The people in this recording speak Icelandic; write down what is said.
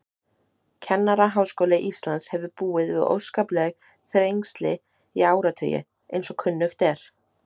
Kennaraháskóli Íslands hefur búið við óskapleg þrengsli í áratugi, eins og kunnugt er.